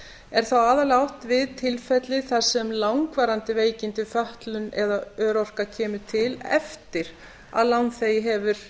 er þá aðallega átt við tilfelli þar sem langvarandi veikindi fötlun eða örorka kemur til eftir að lánþegi hefur